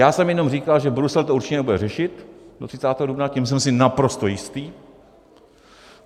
Já jsem jenom říkal, že Brusel to určitě nebude řešit do 30. dubna, tím jsem si naprosto jistý.